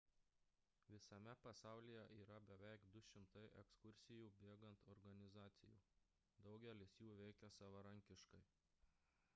visame pasaulyje yra beveik 200 ekskursijų bėgant organizacijų daugelis jų veikia savarankiškai